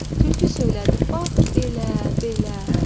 Tülkü söylədi: bax belə, belə.